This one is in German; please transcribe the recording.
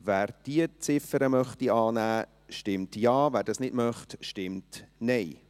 Wer diese Ziffer annehmen möchte, stimmt Ja, wer dies nicht möchte, stimmt Nein.